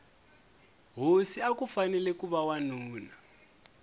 hosi akufanele kuva wanuna